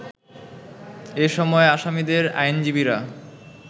এ সময় আসামিদের আইনজীবীরা